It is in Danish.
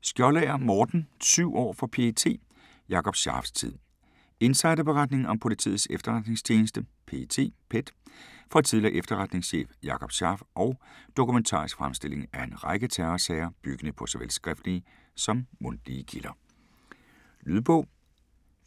Skjoldager, Morten: Syv år for PET: Jakob Scharfs tid Insiderberetning om Politiets Efterretningstjeneste (PET) fra tidligere efterretningschef Jakob Scharf og dokumentarisk fremstilling af en række terrorsager, byggende på såvel skriftlige som mundtlige kilder. Lydbog